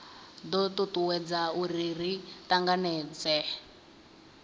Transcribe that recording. do tutuwedza uri ri tanganedzee